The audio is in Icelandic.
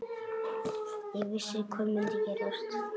Ég vissi hvað myndi gerast.